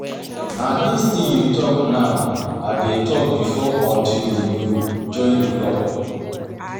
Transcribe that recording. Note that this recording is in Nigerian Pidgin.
Na dis thing you talk now I dey talk before until I join the club